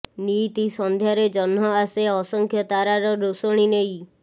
ନିଇତି ସନ୍ଧ୍ୟାରେ ଜହ୍ନ ଆସେ ଅସଂଖ୍ୟ ତାରାର ରୋଷଣୀ ନେଇ